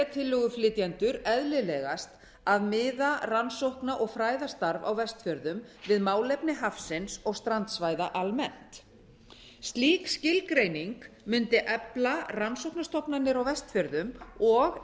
tillöguflytjendur eðlilegast að miða rannsókna og fræðastarf á vestfjörðum við málefni hafsins og strandsvæða almennt slík skilgreining mundi efla rannsóknastofnanir á vestfjörðum og